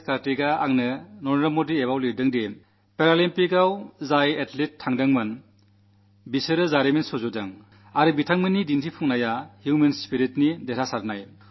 Karthik Narendra Modi app ലൂടെ എനിക്കെഴുതി പാരാളിമ്പിക്സിൽ പങ്കെടുക്കാൻ പോയ അതല്റ്റുകൾ ചരിത്രം രചിച്ചു അവരുടെ പ്രകടനം മനുഷ്യചേതനയുടെ ഹ്യൂമൻ സ്പിരിറ്റിന്റെ വിജയമാണ്